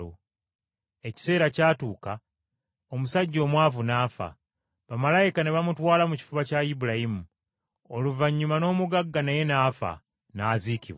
“Ekiseera kyatuuka omusajja omwavu n’afa, bamalayika ne bamutwala mu kifuba kya Ibulayimu. Oluvannyuma n’omugagga naye n’afa, n’aziikibwa.